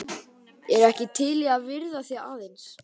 Ertu ekki til í að viðra þig aðeins?